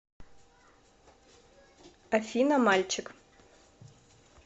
афина мальчик